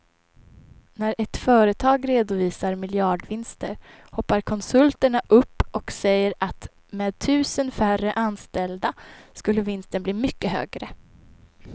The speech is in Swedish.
När ett företag redovisar miljardvinster hoppar konsulterna upp och säger att med tusen färre anställda skulle vinsten bli mycket högre.